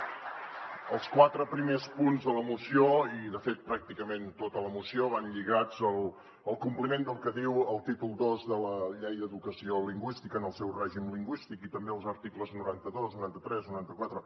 els quatre primers punts de la moció i de fet pràcticament tota la moció van lligats al compliment del que diu el títol ii de la llei d’educació lingüística en el seu règim lingüístic i també els articles noranta dos noranta tres noranta quatre